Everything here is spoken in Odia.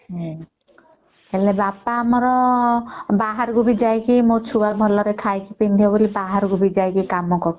ହେଲେ ବାପା ଆମର ବାହାରକୁ ବି ଯାଇକି ମୋ ଛୁଆ ଭଲ ରେ ଖାଇକି ବାହାର କୁ ଯାଇକି କାମ କରୁଛନ୍ତି